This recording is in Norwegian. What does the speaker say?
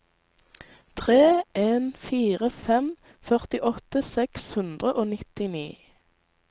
tre en fire fem førtiåtte seks hundre og nittini